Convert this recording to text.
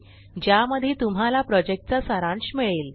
ज्यामध्ये तुम्हाला प्रॉजेक्टचा सारांश मिळेल